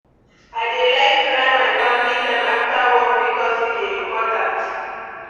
I dey like plan family time after work bikos e dey important.